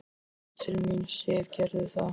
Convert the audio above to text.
Komdu til mín, Sif, gerðu það.